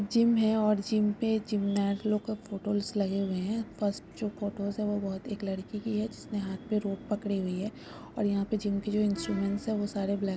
gym है और gym पे जीमनाट लोको का फोटोस लगे हुए है फर्स्ट जो फोटोस हे वोह बहत एक लड़की की है जिसने हात में रड पकड़े हुई है और यहा पे जिम की जो ईन्स्ट्रमेन्ट हे वोह सारे ब्लैक --